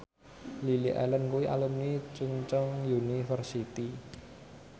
Lily Allen kuwi alumni Chungceong University